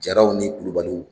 Jaraw ni Kulubaliw